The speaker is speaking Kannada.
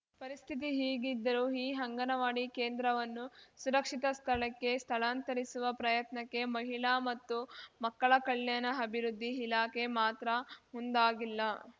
ಪರಿಸ್ಥಿತಿ ಹೀಗಿದ್ದರೂ ಈ ಅಂಗನವಾಡಿ ಕೇಂದ್ರವನ್ನು ಸುರಕ್ಷಿತ ಸ್ಥಳಕ್ಕೆ ಸ್ಥಳಾಂತರಿಸುವ ಪ್ರಯತ್ನಕ್ಕೆ ಮಹಿಳಾ ಮತ್ತು ಮಕ್ಕಳ ಕಲ್ಯಾಣ ಅಭಿವೃದ್ದಿ ಇಲಾಖೆ ಮಾತ್ರ ಮುಂದಾಗಿಲ್ಲ